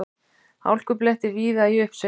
Hálkublettir víða í uppsveitum